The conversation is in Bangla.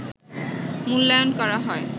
মূল্যায়ন করা হয়